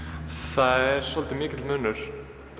það er svolítið mikill munur